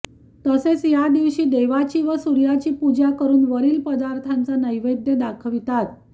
तसेच या दिवशी देवाची व सूर्याची पूजा करुन वरील पदार्थांचा नैवेद्य दाखवितात